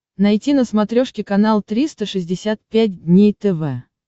найти на смотрешке канал триста шестьдесят пять дней тв